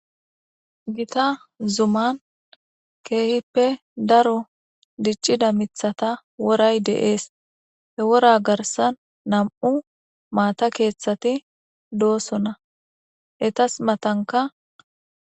Gita zuman keehippe daro diccida mithata woray deees he wora garsan nam7u maata keeththati doossona etas matanka